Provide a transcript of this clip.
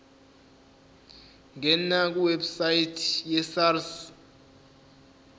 ngena kwiwebsite yesars